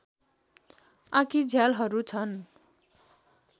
आँखीझ्यालहरू छन्